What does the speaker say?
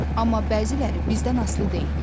Amma bəziləri bizdən asılı deyil.